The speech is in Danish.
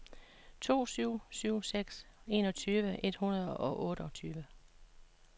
to syv syv seks enogtyve et hundrede og otteogtyve